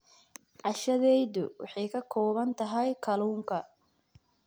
Cashadeydu waxay ka kooban tahay kalluunka.